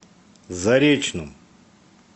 заречном